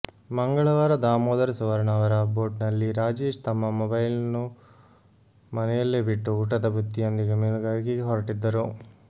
ಮಂಗಳವಾರ ದಾಮೋದರ ಸುವರ್ಣ ಅವರ ಬೋಟ್ನಲ್ಲಿ ರಾಜೇಶ್ ತಮ್ಮ ಮೊಬೈಲ್ನ್ನು ಮನೆಯಲ್ಲೇ ಬಿಟ್ಟು ಊಟದ ಬುತ್ತಿಯೊಂದಿಗೆ ಮೀನುಗಾರಿಕೆಗೆ ಹೊರಟಿದ್ದರು